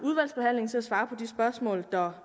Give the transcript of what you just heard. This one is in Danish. svare på de spørgsmål der